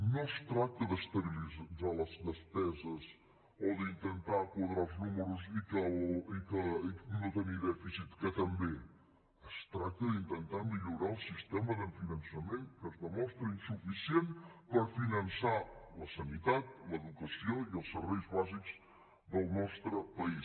no es tracta d’estabilitzar les despeses o d’intentar quadrar els números i no tenir dèficit que també es tracta d’intentar millorar el sistema de finançament que es demostra insuficient per finançar la sanitat l’educació i els serveis bàsics del nostre país